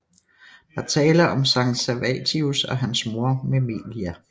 Der er tale om Sankt Servatius og hans mor Memelia